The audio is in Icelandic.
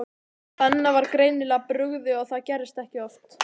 Benna var greinilega brugðið og það gerðist ekki oft.